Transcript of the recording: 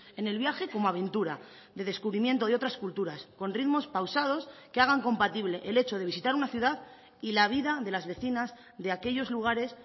en el viaje como aventura de descubrimiento de otras culturas con ritmos pausados que hagan compatible el hecho de visitar una ciudad y la vida de las vecinas de aquellos lugares